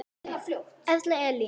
Erla Elín.